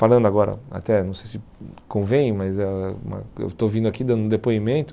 Falando agora, até não sei se convém, mas ãh eu estou vindo aqui dando um depoimento.